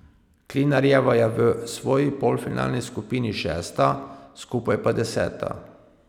Klinarjeva je bila v svoji polfinalni skupini šesta, skupaj pa deseta.